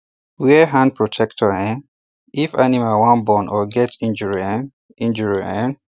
wear hand protector um if animal wan born or get injury um injury um